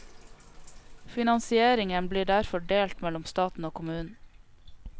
Finansieringen blir derfor delt mellom staten og kommunen.